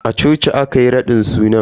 A coci aka yi raɗin suna.